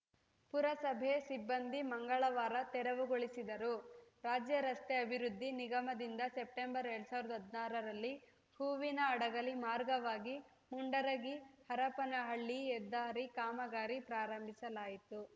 ಪುರಸಭೆ ಸಿಬ್ಬಂದಿ ಮಂಗಳವಾರ ತೆರವು ಗೊಳಿಸಿದರು ರಾಜ್ಯ ರಸ್ತೆ ಅಭಿವೃದ್ಧಿ ನಿಗಮದಿಂದ ಸೆಪ್ಟೆಂಬರ್ ಎರಡ್ ಸಾವಿರದ ಹದನಾರರಲ್ಲಿ ಹೂವಿನಹಡಗಲಿ ಮಾರ್ಗವಾಗಿ ಮುಂಡರಗಿ ಹರಪನಹಳ್ಳಿ ಹೆದ್ದಾರಿ ಕಾಮಗಾರಿ ಪ್ರಾರಂಭಿಸಲಾಯಿತು